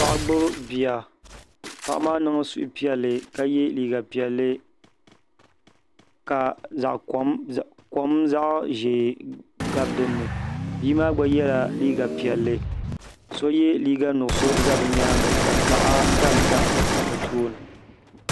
Paɣa gbibi bia paɣa maa niŋ suhu piɛlli ka ye liiga piɛlli ka kom zaɣa ʒee gabi dinni bia maa gba yela liiga piɛlli so ye liiga nuɣuso za bɛ nyaanga ka gaɣa tam tam bɛ tooni.